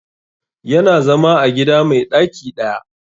Ya na zama a gida mai ɗaki ɗaya